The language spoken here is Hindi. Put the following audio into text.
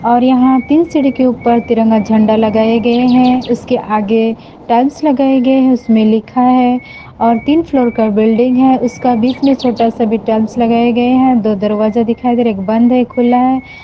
और यहां तीन सीढ़ी के ऊपर तिरंगा झंडा लगाए गए हैं उसके आगे टाइल्स लगाए गये उसमें लिखा है और तीन फ्लोर का बिल्डिंग है उसका बीच में छोटा सा भी टाइल्स लगाए गए हैं दो दरवाजा दिखाई दे एक बंद है खुला है।